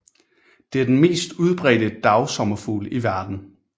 Det er den mest udbredte dagsommerfugl i verden